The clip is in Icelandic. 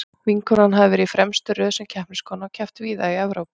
Vinkonan hafði verið í fremstu röð sem keppniskona og keppt víða í Evrópu.